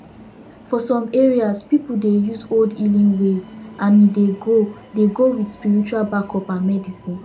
for some areas people dey use old healing ways and e dey go dey go with spiritual backup and medicine